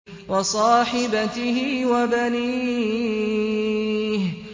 وَصَاحِبَتِهِ وَبَنِيهِ